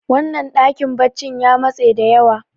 wannan dakin baccin ya matse da yawa